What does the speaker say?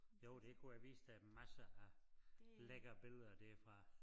Jo kunne jeg have vist dig masser af lækre billeder dér fra